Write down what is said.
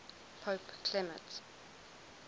pope clement